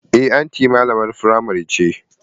Eh anti malamar primary ce.